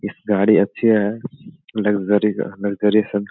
इस गाड़ी अच्छी है लग्जरी लग्जरी सब।